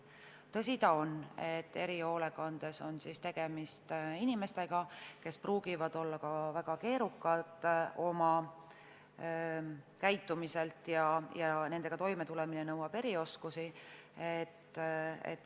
Tõsi ta on, et erihoolekandes on tegemist inimestega, kes võivad olla väga keerukad oma käitumiselt, ja nendega toimetulemine nõuab erioskusi.